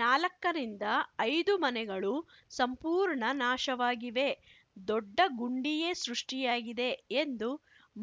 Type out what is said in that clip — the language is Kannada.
ನಾಲಕ್ಕರಿಂದ ಐದು ಮನೆಗಳು ಸಂಪೂರ್ಣ ನಾಶವಾಗಿವೆ ದೊಡ್ಡ ಗುಂಡಿಯೇ ಸೃಷ್ಟಿಯಾಗಿದೆ ಎಂದು